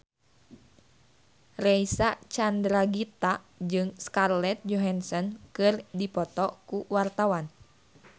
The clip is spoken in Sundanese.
Reysa Chandragitta jeung Scarlett Johansson keur dipoto ku wartawan